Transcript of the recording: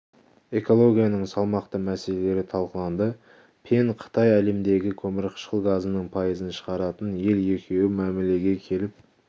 экологияның салмақты мәселелері талқыланды пен қытай әлемдегі көмірқышқыл газының пайызын шығаратын ел екеуі мәмілеге келіп